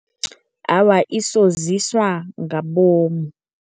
Awa, isoziswa ngabomu.